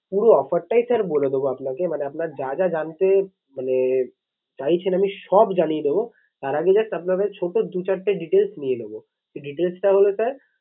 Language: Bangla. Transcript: পুরো offer টাই sir বলে দেবো আপনাকে মানে আপনার যা যা জানতে মানে চাইছেন আমি সব জানিয়ে দেবো। তার আগে just আপনার কাছে ছোটো চারটে details নিয়ে নেবো। সেই details টা হলো sir